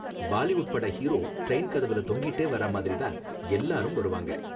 பாலிவுட் பட hero train கதவுல தொங்கிட்டே வர்ற மாதிரி தான் எல்லாரும் வருவாங்க.